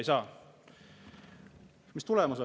Mis tulemus on?